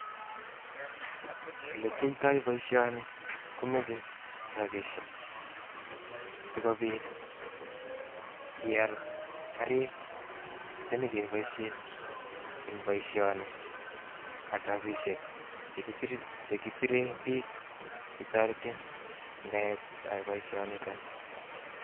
Ole kiyoitoi boishoni komoche rabishek sikobiit ial Garik chenyon keboishen en boishoni ak rapishek che kisiren bik chetoretin en boisionitok nii